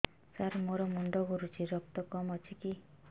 ସାର ମୋର ମୁଣ୍ଡ ଘୁରୁଛି ରକ୍ତ କମ ଅଛି କି